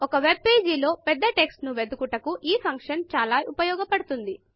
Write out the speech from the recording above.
ఒక వెబ్పేజీలో పెద్ద టెక్స్ట్ ను వెదుకుటకు ఈ ఫంక్షన్ చాలా ఉపయోగపడుతుంది